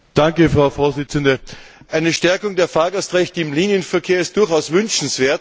Frau Präsidentin! Eine Stärkung der Fahrgastrechte im Linienverkehr ist durchaus wünschenswert.